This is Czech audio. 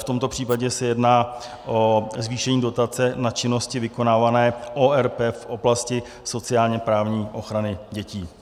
V tomto případě se jedná o zvýšení dotace na činnosti vykonávané ORP v oblasti sociálně-právní ochrany dětí.